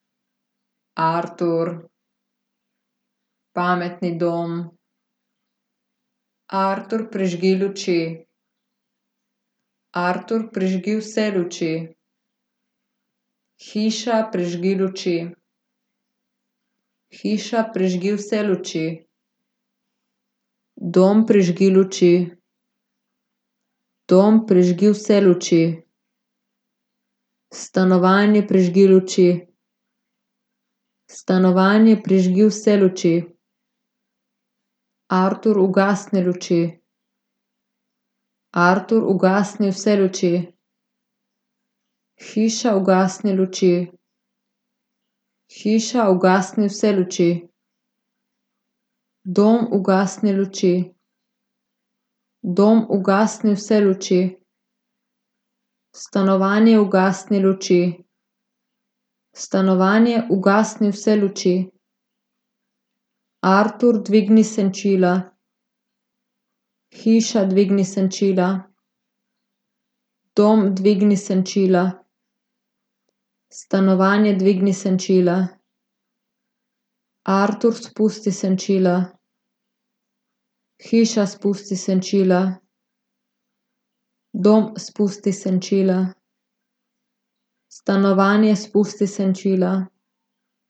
Artur. Pametni dom. Artur, prižgi luči. Artur, prižgi vse luči. Hiša, prižgi luči. Hiša, prižgi vse luči. Dom, prižgi luči. Dom, prižgi vse luči. Stanovanje, prižgi luči. Stanovanje, prižgi vse luči. Artur, ugasni luči. Artur, ugasni vse luči. Hiša, ugasni luči. Hiša, ugasni vse luči. Dom, ugasni luči. Dom, ugasni vse luči. Stanovanje, ugasni luči. Stanovanje, ugasni vse luči. Artur, dvigni senčila. Hiša, dvigni senčila. Dom, dvigni senčila. Stanovanje, dvigni senčila. Artur, spusti senčila. Hiša, spusti senčila. Dom, spusti senčila. Stanovanje, spusti senčila.